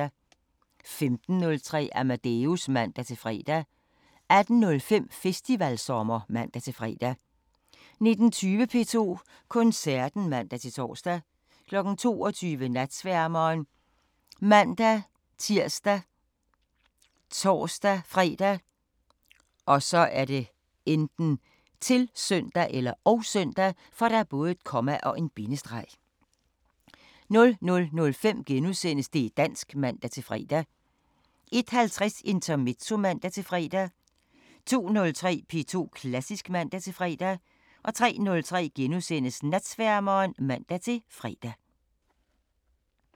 15:03: Amadeus (man-fre) 18:05: Festivalsommer (man-fre) 19:20: P2 Koncerten (man-tor) 22:00: Natsværmeren ( man-tir, tor-fre, -søn) 00:05: Det' dansk *(man-fre) 01:50: Intermezzo (man-fre) 02:03: P2 Klassisk (man-fre) 03:03: Natsværmeren *(man-fre)